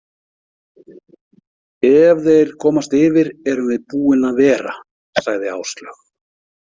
Ef þeir komast yfir erum við búin að vera, sagði Áslaug.